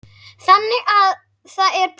Þannig að það er plús.